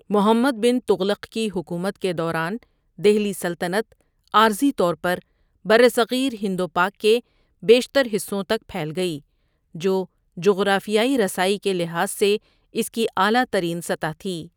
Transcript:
محمد بن تغلق کی حکومت کے دوران، دہلی سلطنت عارضی طور پر برصغیر ہند و پاک کے بیشتر حصوں تک پھیل گئی، جو جغرافیائی رسائی کے لحاظ سے اس کی اعلیٰ ترین سطح تھی۔